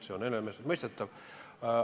See on iseenesestmõistetav.